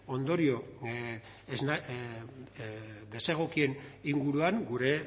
ondorio desegokien inguruan gure